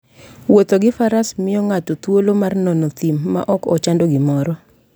Wuotho gi faras miyo ng'ato thuolo mar nono thim maok ochando gimoro.